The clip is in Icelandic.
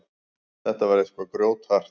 Þetta var eitthvað grjóthart.